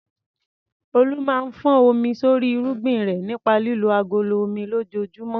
Olu máa ń fọ́n omi sórí irúgbìn rẹ̀ nípa lílo agolo omi lójoojúmọ́.